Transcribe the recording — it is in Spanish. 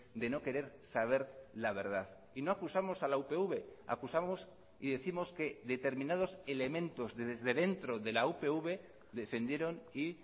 de no querer saber la verdad y no acusamos a la upv acusamos y décimos que determinados elementos desde dentro de la upv defendieron y